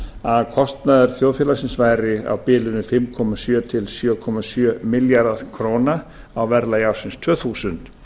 að kostnaður þjóðfélagsins væri á bilinu fimm komma sjö til sjö komma sjö milljarðar króna á verðlagi ársins tvö þúsund